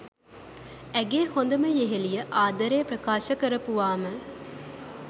ඇගේ හොඳම යෙහෙලිය ආදරේ ප්‍රකාශ කරපුවාම?